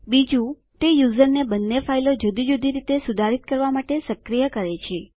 બીજું તે યુઝરને બંને ફાઈલો જુદી જુદી રીતે સુધારીત કરવા માટે સક્રીય કરે છે